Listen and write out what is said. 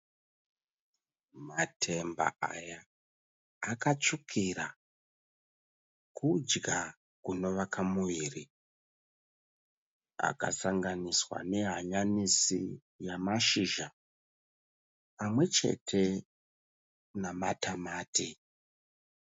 Matemba aya akatsvukira, kudya kunovaka muviri. Akasanganiswa nehanyanisi namashizha pamwe chete namatamati.